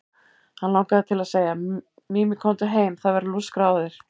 Hann langaði til að segja: Mimi, komdu heim, það verður lúskrað á þér.